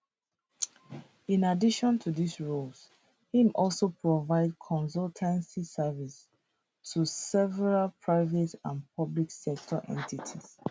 in addition to dis roles im also provide consultancy services to several private and public sector entities